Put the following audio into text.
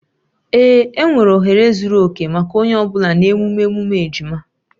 Ee, enwere ohere zuru oke maka onye ọ bụla na emume emume ejima